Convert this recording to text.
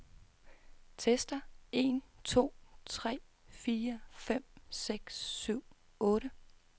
Tester en to tre fire fem seks syv otte.